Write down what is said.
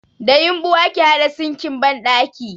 Da yumɓu ake haɗa sinkin banɗaki